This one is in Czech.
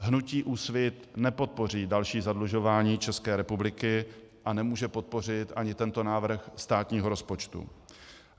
Hnutí Úsvit nepodpoří další zadlužování České republiky a nemůže podpořit ani tento návrh státního rozpočtu.